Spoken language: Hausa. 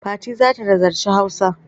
Fati za ta nazarci Hausa.